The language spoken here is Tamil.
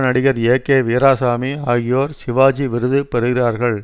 நடிகர் ஏ கே வீராசாமி ஆகியோர் சிவாஜி விருது பெறுகிறார்கள்